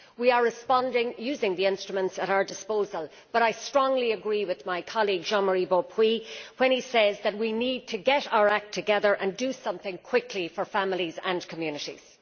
We are responding using the instruments at our disposal, but I strongly agree with my colleague Mr Beaupuy when he says that we need to get our act together and do something quickly for families and communities.